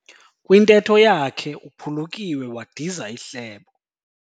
Kwintetho yakhe uphulukiwe wadiza ihlebo.